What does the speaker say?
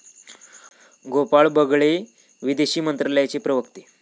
गोपाळ बगळे, विदेश मंत्रालयाचे प्रवक्ते